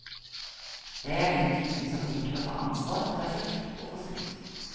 Jeg er den typen som liker å ta ansvar, ta kjeft og få skryt.